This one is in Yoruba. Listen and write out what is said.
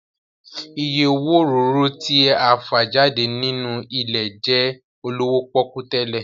Ìyè owó òróró tí a fà jáde nínú ilẹ̀ jẹ́ olówó pọ́kú tẹ́lẹ̀